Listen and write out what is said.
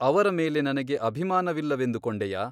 ಅವರ ಮೇಲೆ ನನಗೆ ಅಭಿಮಾನವಿಲ್ಲವೆಂದು ಕೊಂಡೆಯಾ ?